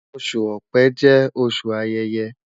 Oṣu Ọ̀pẹ jẹ oṣu ayẹyẹ